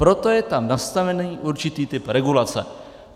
Proto je tam nastaven určitý typ regulace.